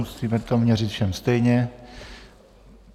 Musíme to měřit všem stejně.